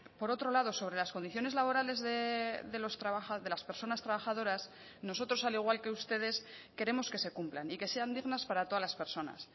por otro lado sobre las condiciones laborales de las personas trabajadoras nosotros al igual que ustedes queremos que se cumplan y que sean dignas para todas las personas